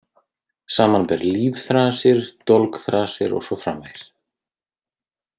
Samanber Lífþrasir, Dolgþrasir og svo framvegis.